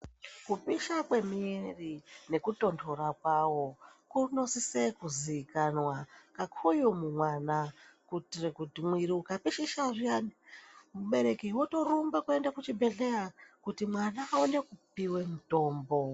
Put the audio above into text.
Kupisha kwemuiri nekutontora kwawo kunosise kuzikanwa kakuru mumwana kuitire kuti mwiri ukapishisha zviyani mubereki wotorumbe kuende kuchibhedhleya kuti mwana aone kupiwe mutombo.